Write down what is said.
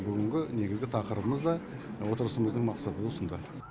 бүгінгі негізгі тақырыбымыз да отырысымыздың мақсаты осында